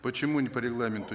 почему не по регламенту